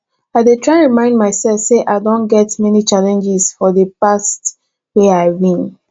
i dey try remind myself say i don get many challenges for di past wey i win